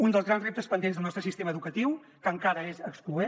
un dels grans reptes pendents del nostre sistema educatiu que encara és excloent